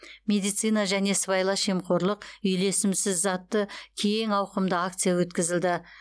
медицина және сыбайлас жемқорлық үйлесімсіз атты кең ауқымды акция өткізілді